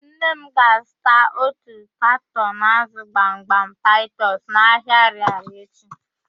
Nna m ga-azụta otu katọn ázụ̀ gbamgbam taịtọs n'ahịa Arịarịa echi.